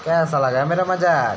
कैसा लगा मेरा मजाक।